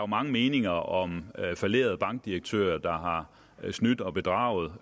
mange meninger om fallerede bankdirektører der har snydt og bedraget